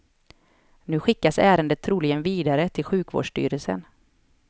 Nu skickas ärendet troligen vidare till sjukvårdsstyrelsen.